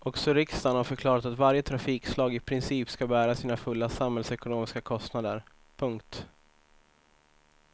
Också riksdagen har förklarat att varje trafikslag i princip ska bära sina fulla samhällsekonomiska kostnader. punkt